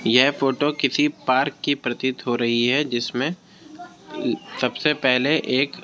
यह फ़ोटो किसी पार्क की प्रतीत हो रही हैजिसमे सबसे पहले एक --